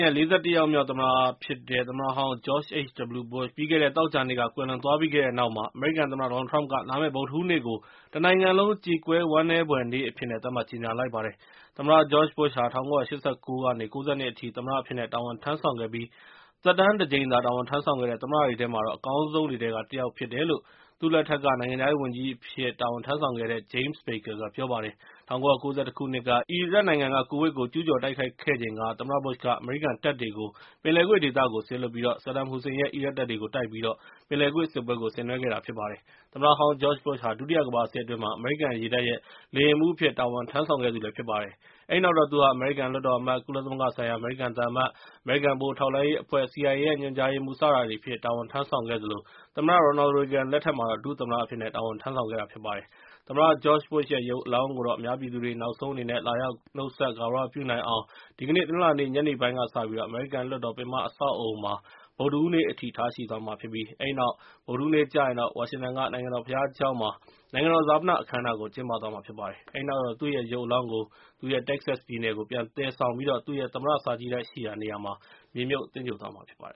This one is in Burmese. ရဲ့ ၄၁ ယောက်မြောက် သမ္မတဖြစ်တဲ့ သမ္မတဟောင်း George H.W. Bush ပြီးခဲ့တဲ သောကြာနေ့က ကွယ်လွန်သွားပြီးတဲ့နောက် ၊ အမေရိကန်သမ္မတ ဒေါ်နယ်လ်ထရမ့်က လာမယ့် ဗုဒ္ဓဟူးနေ့ကို တနိုင်ငံလုံးကြေကွဲဝမ်းနည်းဖွယ်နေ့အဖြစ်နဲ့ သတ်မှတ်ကြေညာလိုက်ပါတယ်။ သမ္မတ George Bush ဟာ ၁၉၈၉ ကနေ ၉၂ ခုနှစ်အထိ သမ္မတအဖြစ်နဲ့ တာဝန်ထမ်းဆောင်ခဲ့ပြီး၊ သက်တမ်းတကြိမ်သာ တာဝန် ထမ်းဆောင်ခဲ့တဲ့ သမ္မတတွေထဲမှာ အကောင်းဆုံးတွေထဲက တစ်ယောက်ဖြစ်တယ်လို့ သမ္မတ Bush အစိုးရလက်ထက်က နိုင်ငံခြားရေးဝန်ကြီးအဖြစ် တာဝန်ထမ်းဆောင်ခဲ့တဲ့ James Baker က ပြောပါတယ်။ ၁၉၉၁ ခုနှစ်က အီရတ်နိုင်ငံက ကူဝိတ်ကို ကျူးကျော်တိုက်ခိုက်ခဲ့ချိန်က ၊ သမ္မတ Bush က အမေရိကန်တပ်တွေကို ပင်လယ်ကွေ့ဒေသကို စေလွှတ်ပြီး ဆဒမ်ဟူစိန်ရဲ့ အီရတ်တပ်တွေ နဲ့ ပင်လယ်ကွေ့စစ်ပွဲကို ဆင်နွဲခဲ့ပါတယ်။ သမ္မတဟောင်း George Bush ဟာ ဒုတိယကမ္ဘာစစ် အတွင်း အမေရိကန်ရေတပ်ရဲ့ လေယာဉ်မှူးအဖြစ်နဲ့ တာဝန်ထမ်းဆောင်ခဲ့ပါတယ်။ အဲဒီနောက်တော့ သူဟာ အမေရိကန်လွှတ်တော်အမတ်၊ ကုလသမဂ္ဂဆိုင်ရာ အမေရိကန်သံအမတ်၊ အမေရိကန်ဗဟိုထောက်လှမ်းရေးအဖွဲ့ CIA ညွှန်ကြားရေးမှူး၊ စတာတွေအဖြစ်နဲ့ တာဝန် ထမ်းဆောင်ခဲ့သလို၊ သမ္မတ ရော်နယ်ရေဂင်လက်ထက်မှာတော့ ဒု-သမ္မတအဖြစ် နဲ့ တာဝန်ထမ်းဆောင်ခဲ့တာ ဖြစ်ပါတယ်။ သမ္မတ George Bush ရဲ့ ရုပ်အလောင်းကို အများပြည်သူတွေ နောက်ဆုံးအနေနဲ့ လာရောက် နှုတ်ဆက် ဂါရ၀ ပြုနိုင်အောင် ဒီကနေ့ တနင်္လာနေ့ ညနေပိုင်း ကစပြီး အမေရိကန်လွှတ်တော်ပင်မအဆောက်အအုံမှာ ဗုဒ္ဓဟူးနေ့ အထိ ထားရှိသွားမှ ာဖြစ်ပြီး၊ အဲဒီနောက် ဗုဒ္ဓဟူးနေ့ကျရင် ဝါရှင်တန်က နိုင်ငံတော်ဘုရားကျောင်းမှာ နိုင်ငံတော်ဈာပန အခမ်းအနားကိုကျင်းပသွားမှာဖြစ်ပါတယ်။ အဲဒီနောက်တော့ သူ့ရဲ့ ရုပ်အလောင်းကို သူ့ရဲ့ Texas ပြည်နယ်ကို ပြန်သယ်ဆောင်ပြီးသူ့ ရဲ့ သမ္မတစာကြည့်တိုက်ရှိရာနေမှာ မြေမြှုပ်သဂြိုဟ်သွားမှာဖြစ်ပါတယ